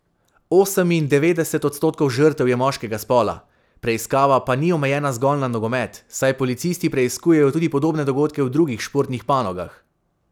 Osemindevetdeset odstotkov žrtev je moškega spola, preiskava pa ni omejena zgolj na nogomet, saj policisti preiskujejo tudi podobne dogodke v drugih športnih panogah.